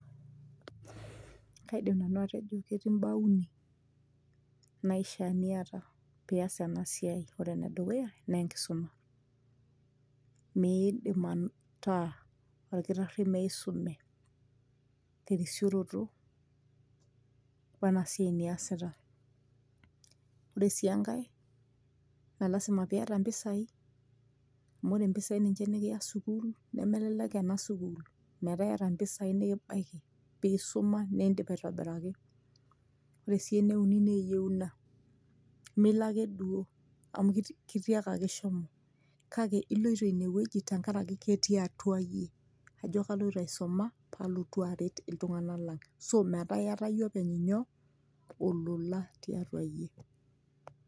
kaidim nanu atejo ketii imbaa uni naishia niyata piyas ena siai ore enedukuya naa enkisuma miidim ataa orkitarri meisume terisioroto wena siai niasita ore sii enkae naa lasima piyata impisai amu ore impisai ninche nikiya sukul nemelelek ena sukul metaa iyata impisai nikibaiki piisuma nindip aitobiraki ore sii ene uni naa eyieuna mee ilo ake duo amu kitiakaki shomo kake iloito inewueji tenkaraki ketii atua iyie ajo kaloito aisuma palotu aret iltung'anak lang ashu metaa iyata iyie openy nyoo olola tiatua iyie.